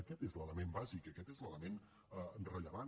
aquest és l’element bàsic aquest és l’element rellevant